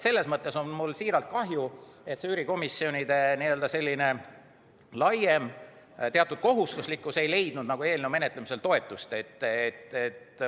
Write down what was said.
Selles mõttes on mul südamest kahju, et üürikomisjonide laiem kohustuslikkus ei leidnud eelnõu menetlemisel toetust.